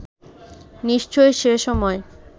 নিশ্চয়ই সে সময়ে